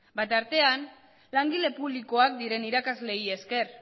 tartean langile publikoak diren irakasleei esker